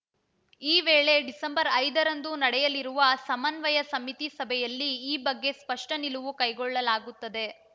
ಈ ವೇಳೆ ಡಿಸೆಂಬರ್ ಐದರಂದು ನಡೆಯಲಿರುವ ಸಮನ್ವಯ ಸಮಿತಿ ಸಭೆಯಲ್ಲಿ ಈ ಬಗ್ಗೆ ಸ್ಪಷ್ಟನಿಲುವು ಕೈಗೊಳ್ಳಲಾಗುತ್ತದೆ